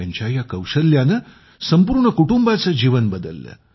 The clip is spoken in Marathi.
त्यांच्या या कौशल्याने संपूर्ण कुटुंबाचे जीवन बदलले